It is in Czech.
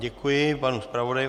Děkuji panu zpravodaji.